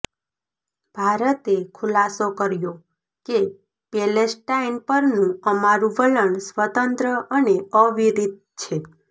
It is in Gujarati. ભારતે ખુલાસો કર્યો કે પેલેસ્ટાઈન પરનું અમારૂ વલણ સ્વતંત્ર અને અવિરત છે